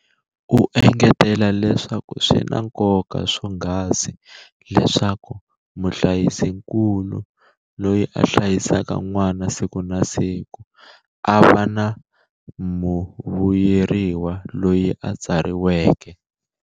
U engetela leswaku swi na nkoka swonghasi leswaku muhlayisikulu, loyi a hlayisaka n'wana siku na siku, a va muvuyeriwa loyi a tsariseke.